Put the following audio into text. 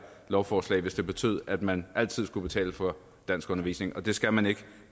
lovforslag hvis det betød at man altid skulle betale for danskundervisning og det skal man ikke